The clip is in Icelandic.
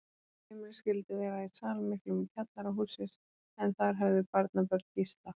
Heimilið skyldi vera í sal miklum í kjallara hússins, en þar höfðu barnabörn Gísla